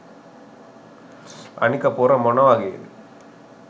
අනික පොර මොන වගේ